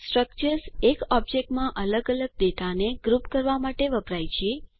structures એક ઓબ્જેક્ટમાં અલગ અલગ ડેટાને ગ્રુપ કરવા માટે વપરાય છે